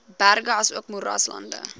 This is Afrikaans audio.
berge asook moeraslande